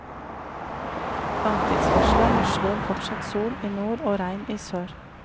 Langtidsvarselet varsler fortsatt sol i nord og regn i sør.